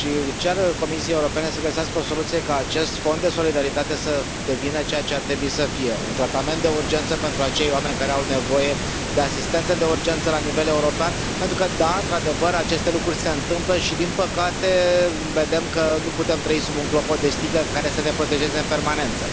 Cer Comisiei Europene să găsească o soluție ca acest fond de solidaritate să devină ceea ce ar trebui să fie un tratament de urgență pentru acei oameni care au nevoie de asistență de urgență la nivel european, pentru că da, într adevăr, aceste lucruri se întâmplă și, din păcate, vedem că nu putem trăi sub un clopot de sticlă care să ne protejeze în permanență.